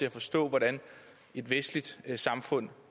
at forstå hvordan et vestligt samfund